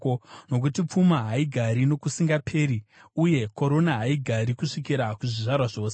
nokuti pfuma haigari nokusingaperi, uye korona haigari kusvikira kuzvizvarwa zvose.